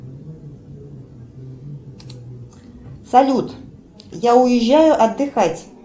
салют я уезжаю отдыхать